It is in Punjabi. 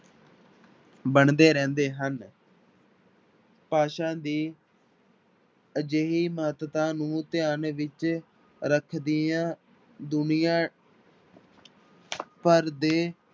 ਬਣਦੇ ਰਹਿੰਦੇ ਹਨ ਭਾਸ਼ਾ ਦੀ ਅਜਿਹੀ ਮਹੱਤਤਾ ਨੂੰ ਧਿਆਨ ਵਿੱਚ ਰੱਖਦੀਆਂ ਦੁਨੀਆਂ ਭਰ ਦੇ